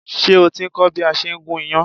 Ṣé o ti ń kọ́ bí a ṣe ń gún iyán?